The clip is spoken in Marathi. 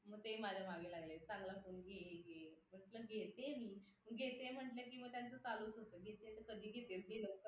ते माझ्या मागे लागलेत चांगला फोन घे घे म्हणलं घेते मी घेते म्हटलं की मग त्यांचं चालू होतं घेते तर कधी घेतेस घे लवकर